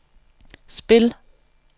spil